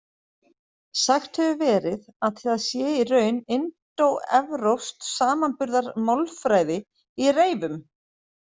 Sagt hefur verið að það sé í raun indóevrópsk samanburðarmálfræði í reyfum.